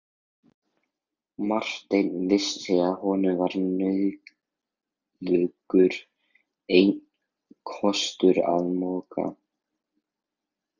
Marteinn vissi að honum var nauðugur einn kostur að moka.